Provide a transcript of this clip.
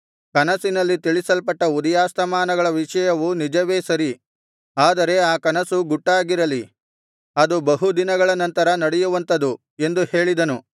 ಕನಸಿನಲ್ಲಿ ತಿಳಿಸಲ್ಪಟ್ಟ ಉದಯಾಸ್ತಮಾನಗಳ ವಿಷಯವು ನಿಜವೇ ಸರಿ ಆದರೆ ಆ ಕನಸು ಗುಟ್ಟಾಗಿರಲಿ ಅದು ಬಹು ದಿನಗಳ ನಂತರ ನಡೆಯುವಂಥದು ಎಂದು ಹೇಳಿದನು